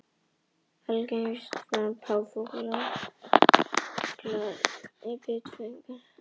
Algengustu slysin sem páfagaukar valda eru þó bit í fingur.